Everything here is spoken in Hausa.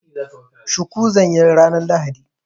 Shuku zan yi ranar lahadi.